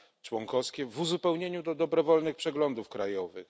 członkowskie w uzupełnieniu do dobrowolnych przeglądów krajowych.